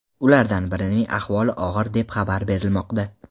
Ulardan birining ahvoli og‘ir deb xabar berilmoqda.